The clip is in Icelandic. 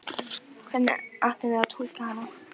Hvernig áttum við að túlka hana?